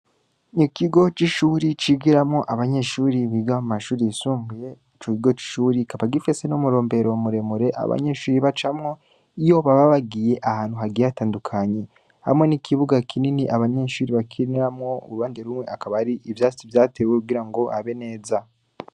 Ikigo c’ishuri, cigiramwo abanyeshuri biga mu mashuri yisumbuye, ico kigo c’ishuri kikaba gifise n’umurombero muremure, abanyeshuri bacamwo, iyo baba bagiye ahantu hagiye hatandukanye; hamwe n’ikibuga kinini abanyeshuri bakiniramwo, uruhande rumwe, akaba ari ivyatsi vyatewe kugira ngo habe neza.